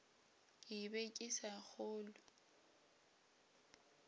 ke be ke sa kgolwe